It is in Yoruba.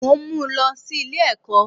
Mò n mú lọ sí Ilé èkó